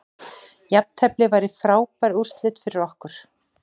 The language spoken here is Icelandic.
Jafntefli væri frábær úrslit fyrir okkur